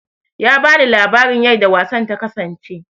Ya bani labarin yarda wasan ta kasance